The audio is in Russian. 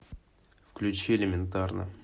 включи элементарно